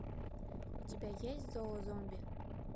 у тебя есть зоозомби